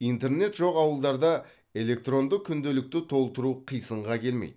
интернет жоқ ауылдарда электронды күнделікті толтыру қисынға келмейді